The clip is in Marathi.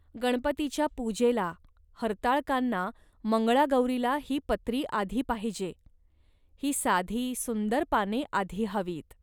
गणपतीच्या पूजेला, हरताळकांना, मंगळागौरीला ही पत्री आधी पाहिजे. ही साधी, सुंदर पाने आधी हवीत